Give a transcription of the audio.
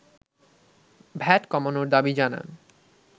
VAT কমানোর দাবি জানান